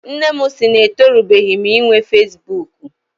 Nne m sị na etorubeghi m inwe fesibuuku.